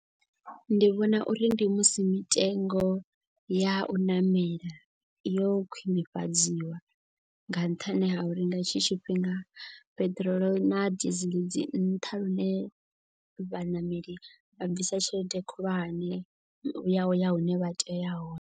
Ndi vhona uri ndi musi mitengo ya u ṋamela yo khwinifhadziwa. Nga nṱhani ha uri nga hetshi tshifhinga peṱirolo na desiel dzi nṱha. Lune vhaṋameli vha bvisa tshelede khulwane ya uya hune vha tea uya hone.